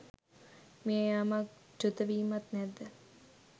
මිය යාමක් චුතවීමක් නැද්ද